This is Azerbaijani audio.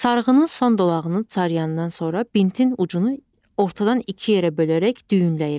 Sarğının son dolağını cayandan sonra bintin ucunu ortadan iki yerə bölərək düyünləyirlər.